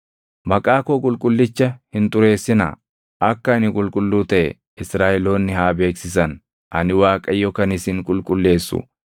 Maqaa koo qulqullicha hin xureessinaa. Akka ani qulqulluu taʼe Israaʼeloonni haa beeksisan. Ani Waaqayyo kan isin qulqulleessu